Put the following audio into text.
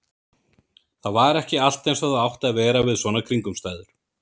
Það var ekki allt eins og það átti að vera við svona kringumstæður.